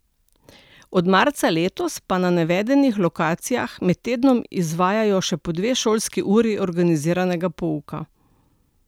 Od marca letos pa na navedenih lokacijah med tednom izvajajo še po dve šolski uri organiziranega pouka.